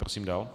Prosím dál.